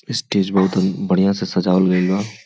ई स्टेज बहुतन बढ़िया से सजावल गइल बा।